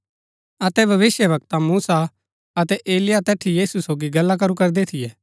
अतै भविष्‍यवक्ता मूसा अतै एलिय्याह तैठी यीशु सोगी गल्ला करू करदै थियै